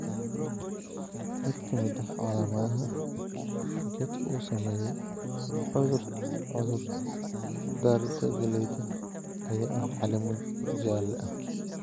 Mid ka mid ah calamadaha geedka uu saameeyay cudur-darrida galleyda ayaa ah caleemo jaale ah.